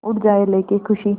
उड़ जाएं लेके ख़ुशी